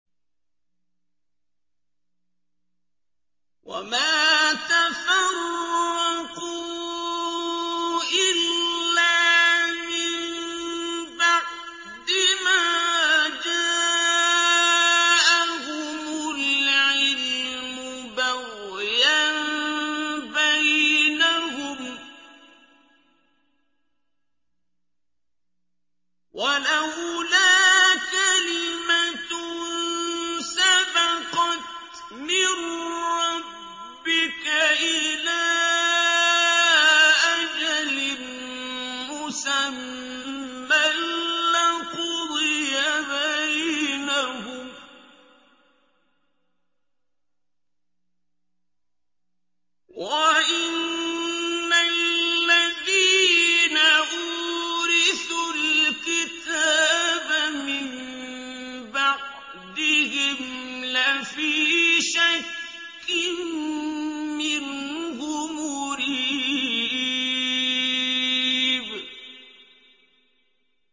وَمَا تَفَرَّقُوا إِلَّا مِن بَعْدِ مَا جَاءَهُمُ الْعِلْمُ بَغْيًا بَيْنَهُمْ ۚ وَلَوْلَا كَلِمَةٌ سَبَقَتْ مِن رَّبِّكَ إِلَىٰ أَجَلٍ مُّسَمًّى لَّقُضِيَ بَيْنَهُمْ ۚ وَإِنَّ الَّذِينَ أُورِثُوا الْكِتَابَ مِن بَعْدِهِمْ لَفِي شَكٍّ مِّنْهُ مُرِيبٍ